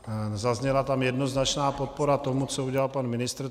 Zazněla tam jednoznačná podpora tomu, co udělal pan ministr.